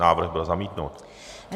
Návrh byl zamítnut.